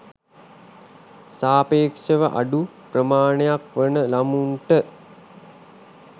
සාපේක්ෂව අඩු ප්‍රමාණයක් වන ළමුන්ට